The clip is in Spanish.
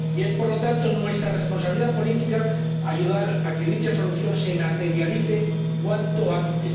Y es, por lo tanto, nuestra responsabilidad política ayudar a que dicha solución se materialice cuanto antes.